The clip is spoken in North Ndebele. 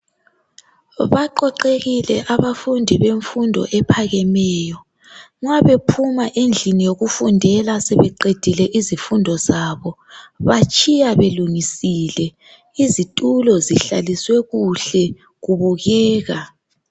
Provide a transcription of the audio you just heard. Baqoqekile abafundi bemfundo ephakemeyo mabephuma endlini yokufundela sebeqedile izifundo zabo batshiya belungisile izitulo zihlaliswe kuhle kubukeka.